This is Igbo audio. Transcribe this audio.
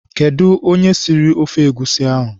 Kedụ onye siri ofe egusi ahụ?